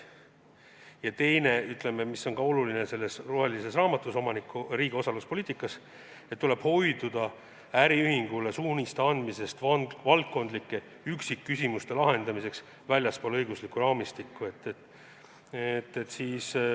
Ja teine, mis on ka selles rohelises raamatus riigi osaluspoliitika seisukohalt oluline, on see, et tuleb hoiduda äriühingule suuniste andmisest valdkondlike üksikküsimuste lahendamiseks väljaspool õiguslikku raamistikku.